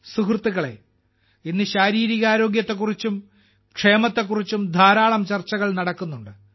സുഹൃത്തുക്കളേ ഇന്ന് ശാരീരിക ആരോഗ്യത്തെക്കുറിച്ചും ക്ഷേമത്തെക്കുറിച്ചും ധാരാളം ചർച്ചകൾ നടക്കുന്നുണ്ട്